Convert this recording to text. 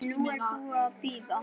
Nú er ég búin að bíða.